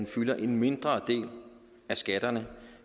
fylder en mindre del af skatterne